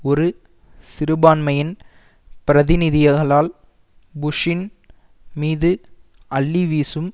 ஒரு சிறுபான்மையின் பிரதிநிதியகளால் புஷ்ஷின் மீது அள்ளி வீசும்